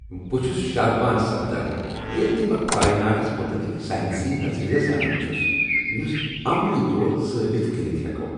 بہ چھُس شادمان سپدان ییٚلہ تہ بہ کائناتس متعلق سائنسی نظریہٕ زانان چھُس یُس عملی طور ثأبت کٔرتھ ہیکو ۔